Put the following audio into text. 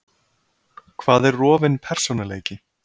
Hvað er rofinn persónuleiki?